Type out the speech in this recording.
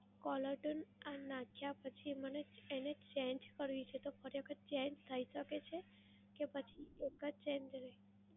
callertune આ નાખ્યા પછી મને change કરવી છે, તો ખરેખર change થઈ શકે છે? કે પછી એક જ same રહે?